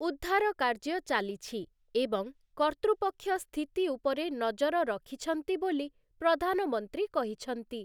ଉଦ୍ଧାର କାର୍ଯ୍ୟ ଚାଲିଛି ଏବଂ କର୍ତ୍ତୃପକ୍ଷ ସ୍ଥିତି ଉପରେ ନଜର ରଖିଛନ୍ତି ବୋଲି ପ୍ରଧାନମନ୍ତ୍ରୀ କହିଛନ୍ତି ।